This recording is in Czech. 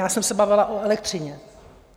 Já jsem se bavila o elektřině.